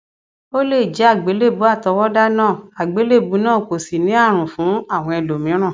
o lè jẹ àgbélébùú àtọwọdá náà àgbélébùú náà kò sì ní àrùn fún àwọn ẹlòmíràn